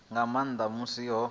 nga nnḓa ha musi ho